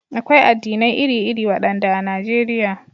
Akwai addinai iri-iri, waɗanda a Najeriya.